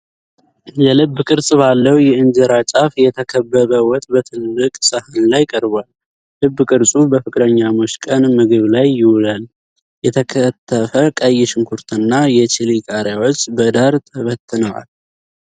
የልብ ቅርጽ ባለው የእንጀራ ጫፍ የተከበበ ወጥ በትልቅ ሳህን ላይ ቀርቧል። ልብ ቅርፁ በፍቅረኛሞች ቀን ምግብ ላይ ይውላል፤ የተከተፈ ቀይ ሽንኩርትና የቺሊ ቃሪያዎች በዳር ተበትነዋል።